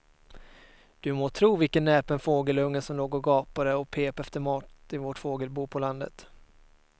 Du må tro vilken näpen fågelunge som låg och gapade och pep efter mat i vårt fågelbo på landet.